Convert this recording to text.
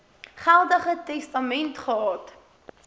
geldige testament gehad